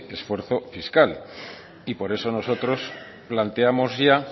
esfuerzo fiscal y por eso nosotros planteamos ya